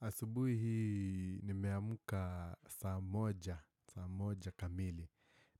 Asubuhi hii nimeamka saa moja, saa moja kamili